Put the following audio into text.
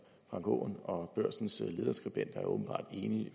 frank aaen og børsens lederskribent er åbenbart enige i